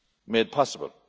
be made possible.